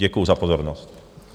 Děkuji za pozornost.